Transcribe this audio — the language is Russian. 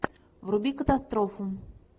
вруби катастрофу